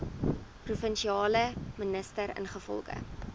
provinsiale minister ingevolge